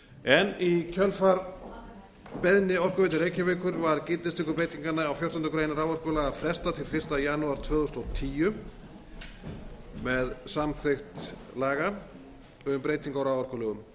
greinir í kjölfar beiðni orkuveitu reykjavíkur var gildistöku breytinganna á fjórtándu greinar raforkulaga frestað til fyrsta janúar tvö þúsund og tíu með samþykkt laga um breytingu á raforkulögum